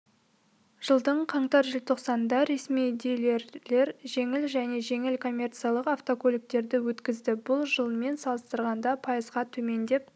жылдың қаңтар-желтоқсанында ресми дилерлер жеңіл және жеңіл коммерциялық автокөліктерді өткізді бұл жылмен салыстырғанда пайызға төмен деп